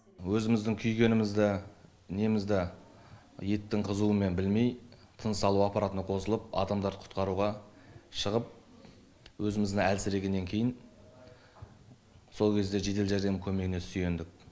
өзіміздің күйгенімізді немізді еттің қызуымен білмей тыныс алу аппаратына қосылып адамдарды құтқаруға шығып өзіміз әлсірегеннен кейін сол кезде жедел жәрдем көмегіне сүйендік